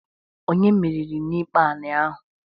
Onye meriri n'ikpe anị ahụ?